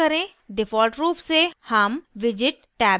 default रूप से हम widget टैब में हैं